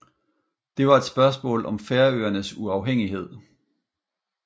Det var et spørgsmål om Færøernes uafhængighed